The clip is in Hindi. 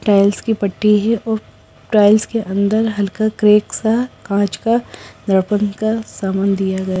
टाइल्स की पट्टी है और टाइल्स के अंदर हल्का क्रेक सा कांच का दर्पण का सामान है।